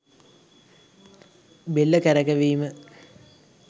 බෙල්ල කරකැවීම